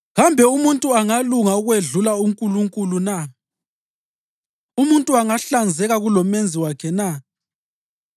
‘Kambe umuntu angalunga ukwedlula uNkulunkulu na? Umuntu angahlanzeka kuloMenzi wakhe na?